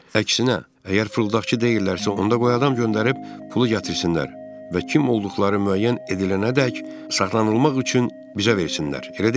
Əksinə, əgər fırıldaqçı deyillərsə, onda qoy adam göndərib pulu gətirsinlər və kim olduqları müəyyən edilənədək saxlanılmaq üçün bizə versinlər, elə deyilmi?